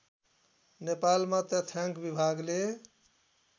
नेपालमा तथ्याङ्क विभागले